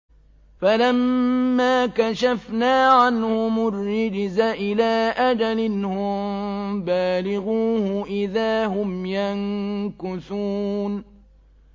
فَلَمَّا كَشَفْنَا عَنْهُمُ الرِّجْزَ إِلَىٰ أَجَلٍ هُم بَالِغُوهُ إِذَا هُمْ يَنكُثُونَ